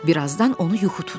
Birazdan onu yuxu tutdu.